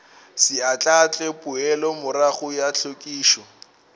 se ahlaahle poelomorago ya hlwekišo